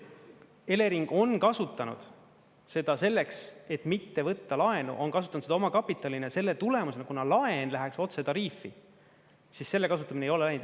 Elering on kasutanud seda selleks, et mitte võtta laenu, on kasutanud seda omakapitalina, ja selle tulemusena, kuna laen läheks otse tariifi, siis selle kasutamine ei ole läinud.